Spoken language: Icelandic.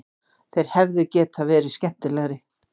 Þeir hefðu getað verið skemmtilegri